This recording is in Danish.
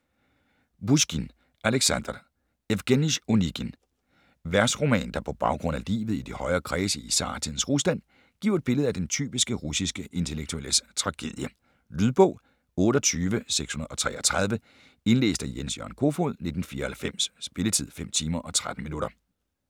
Pusjkin, Aleksandr: Evgenij Onegin Versroman der på baggrund af livet i de højere kredse i zartidens Rusland giver et billede af den typiske russiske intellektuelles tragedie. Lydbog 28633 Indlæst af Jens-Jørgen Kofod, 1994. Spilletid: 5 timer, 13 minutter.